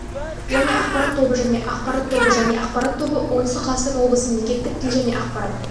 және ақпарат тобы және ақпарат тобы және ақпарат тобы оңтүстік қазақстан облысы мемлекеттік тіл және ақпарат